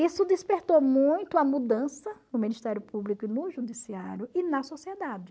Isso despertou muito a mudança no Ministério Público e no Judiciário e na sociedade.